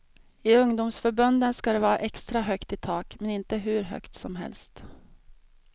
I ungdomsförbunden ska det var extra högt i tak, men inte hur högt som helst.